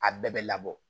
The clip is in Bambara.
A bɛɛ bɛ labɔ